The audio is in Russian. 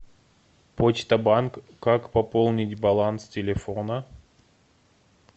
почта банк как пополнить баланс телефона